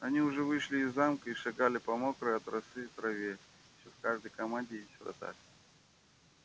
они уже вышли из замка и шагали по мокрой от росы траве ещё в каждой команде есть вратарь